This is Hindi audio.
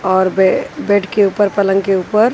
और बे बेड के ऊपर पलंग के ऊपर--